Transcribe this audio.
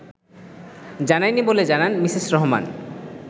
জানায়নি বলে জানান মিসেস রহমান